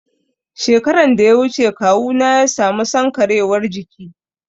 Shekaran da ya wuce kawuna ya sami sankarewar jiki